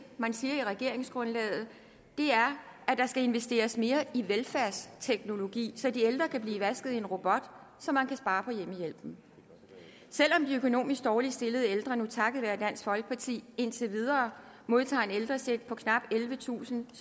man siger i regeringsgrundlaget er at der skal investeres mere i velfærdsteknologi så de ældre kan blive vasket af en robot så man kan spare på hjemmehjælpen selv om de økonomisk dårligt stillede ældre nu takket være dansk folkeparti indtil videre modtager en ældrecheck på knap ellevetusind